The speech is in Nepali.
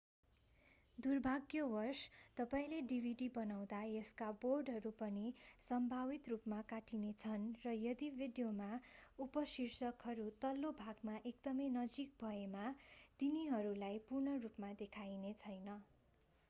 दुर्भाग्यवश तपाईंले डिभिडि बनाउँदा यसका बोर्डरहरू पनि सम्भावित रूपमा काटिनेछन् र यदि भिडियोमा उपशीर्षकहरू तल्लो भागको एकदमै नजिक भएमा तिनीहरूलाई पूर्ण रूपमा देखाइनेछैन